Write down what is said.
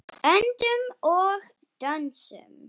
Öndum og dönsum.